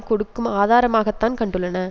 கொடுக்கும் ஆதாரமாகத்தான் கண்டுள்ளன